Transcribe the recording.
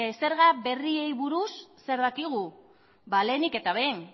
zerga berriei buruz zer dakigu ba lehenik eta behin